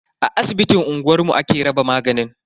A asibitin unguwanmu ake raba maganin.